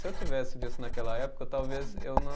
Se eu tivesse visto naquela época, talvez eu não